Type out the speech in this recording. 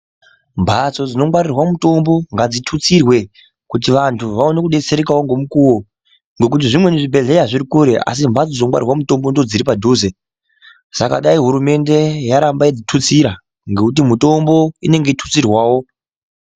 Mhatsi dzinongwaririrwa mutombo ngadzitutsirwe kuti vantu vaone kubetserekavo ngemukuvo. Ngekuti zvimweni zvibhedhleya zviri kure asi mhatso dzinongwarirwa mutombo ndodziri padhuze. Saka dai hurumende yaramba yechitutsira ngekuti mitombo inenge ichitutsirwavo.